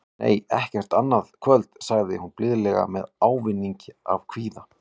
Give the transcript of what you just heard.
Nei, ekki annað kvöld, sagði hún blíðlega með ávæningi af kvíða.